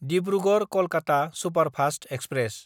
दिब्रुगड़–कलकाता superfast express